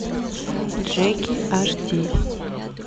джеки аш ди